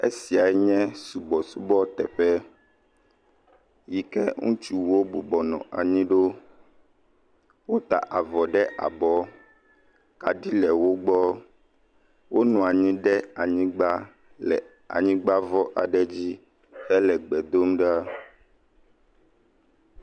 Esia nye subɔsubɔteƒe yi keŋutsuwo bɔbɔ nɔ anyi ɖo wota avɔ ɖe abɔ kaɖi le wo gbɔ, wonɔ anyi le anyigba le anyigba vɔ dzi hele gbe dom ɖa.